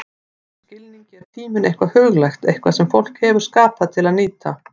Í þessum skilningi er tíminn eitthvað huglægt, eitthvað sem fólk hefur skapað til að nýta.